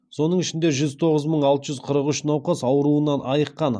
соның ішінде жүз тоғыз мың алты жүз қырық үш науқас ауруынан айыққан